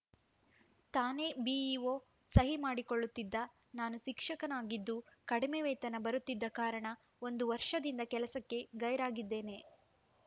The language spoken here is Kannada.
ತಾನೇ ಬಿಇಒ ಸಹಿ ಮಾಡಿಕೊಳ್ಳುತ್ತಿದ್ದ ನಾನು ಶಿಕ್ಷಕನಾಗಿದ್ದು ಕಡಿಮೆ ವೇತನ ಬರುತ್ತಿದ್ದ ಕಾರಣ ಒಂದು ವರ್ಷದಿಂದ ಕೆಲಸಕ್ಕೆ ಗೈರಾಗಿದ್ದೇನೆ